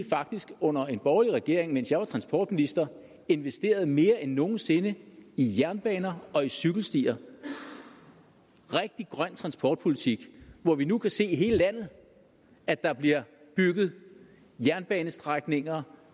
faktisk under en borgerlig regering mens jeg var transportminister investerede mere end nogen sinde i jernbaner og cykelstier rigtig grøn transportpolitik og at vi nu kan se i hele landet at der bliver bygget jernbanestrækninger